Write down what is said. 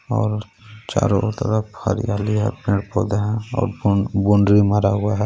और चारो तरफ हरियाली हे पेड़ पौधे हे और बोन-बोन्ड्री मारा हुआ हे.